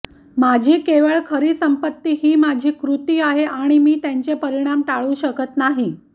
माझी केवळ खरी संपत्ती ही माझी कृती आहे आणि मी त्यांचे परिणाम टाळू शकत नाही